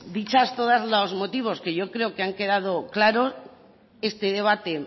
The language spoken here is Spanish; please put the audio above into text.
dichos todos los motivos que yo creo que han quedado claro este debate